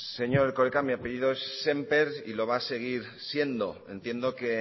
señor erkoreka mi apellido es sémper y lo va a seguir siendo entiendo que